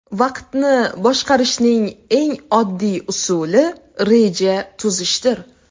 Vaqtni boshqarishning eng oddiy usuli reja tuzishdir.